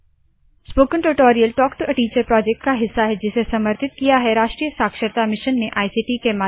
spoken tutorial talk to a teacher project का हिस्सा है जिसे समर्थित किया है राष्ट्रीय साक्षरता मिशन ने इक्ट के माध्यम से